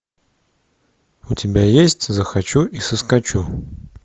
у тебя есть захочу и соскочу